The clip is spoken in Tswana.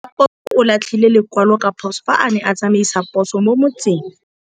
Raposo o latlhie lekwalô ka phosô fa a ne a tsamaisa poso mo motseng.